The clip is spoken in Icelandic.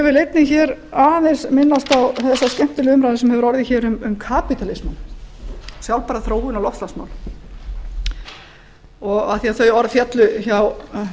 ég vil einnig hér aðeins minnast á þessa skemmtilegu umræðu sem hefur orðið hér um kapitalismann sjálfbæra þróun og loftslagsmál af því þau orð féllu hjá